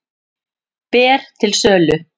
Ber til sölu